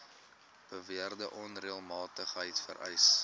beweerde onreëlmatigheid vereis